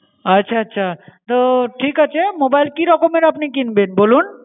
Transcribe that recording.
আচ্ছা আচ্ছা, তো ঠিক আছে mobile কি রকমের আপনি কিনবেন বলুন?